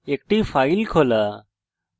একটি file খোলা